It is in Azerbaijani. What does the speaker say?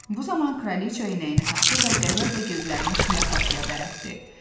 Bu zaman kraliça iynəni taxtı və qəzəblə gözlərini şlyapaçıya bərələtdi.